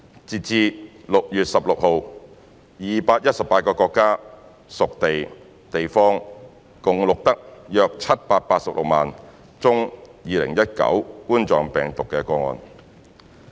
截至6月16日 ，218 個國家/屬地/地方共錄得約786萬宗2019冠狀病毒病個案。